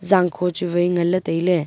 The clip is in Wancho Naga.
zangkho chu wai nganley tailey.